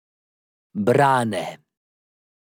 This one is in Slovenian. Brane.